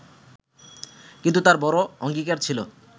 কিন্তু তাঁর বড় অঙ্গীকার ছিল